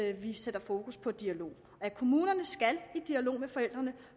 at vi sætter fokus på dialog at kommunerne skal i dialog med forældrene